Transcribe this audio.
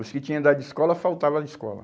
Os que tinham idade de escola, faltava de escola.